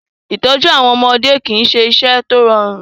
Ìtọ́jú àwọn ọmọdé kì í ṣe iṣẹ́ tó rọrùn.